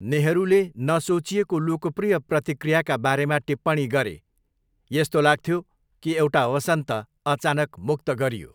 नेहरूले नसोचिएको लोकप्रिय प्रतिक्रियाका बारेमा टिप्पणी गरे, 'यस्तो लाग्थ्यो कि एउटा वसन्त अचानक मुक्त गरियो।'